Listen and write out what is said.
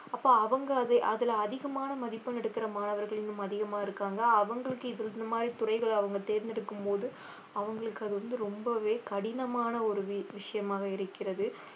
அப்போ அவங்க அது~ அதுல அதிகமான மதிப்பெண் எடுக்கற மாணவர்கள் இன்னும் அதிகமா இருக்காங்க அவங்களுக்கு இது இந்த மாதிரி துறைகள் அவங்க தேர்ந்தெடுக்கும்போது அவங்களுக்கு அது வந்து ரொம்பவே கடினமான ஒரு வி~ விஷயமாக இருக்கிறது